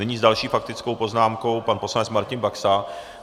Nyní s další faktickou poznámkou pan poslanec Martin Baxa.